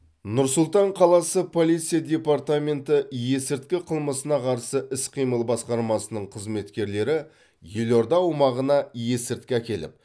нұр сұлтан қаласы полиция департаменті есірткі қылмысына қарсы іс қимыл басқармасының қызметкерлері елорда аумағына есірткі әкеліп